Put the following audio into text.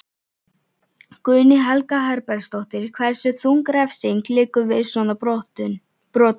Guðný Helga Herbertsdóttir: Hversu þung refsing liggur við svona brotum?